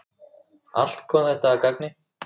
Allt kom þetta að gagni.